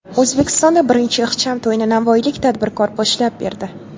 O‘zbekistonda birinchi ixcham to‘yni navoiylik tadbirkor boshlab berdi.